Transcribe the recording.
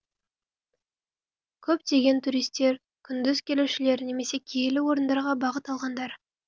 көптеген туристер күндіз келушілер немесе киелі орындарға бағыт алғандар